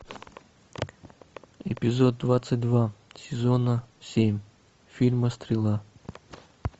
эпизод двадцать два сезона семь фильма стрела